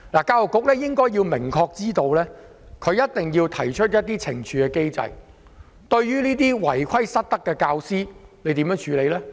教育局應該明確知道的一點是，它一定要制訂懲處機制，處理違規失德的教師。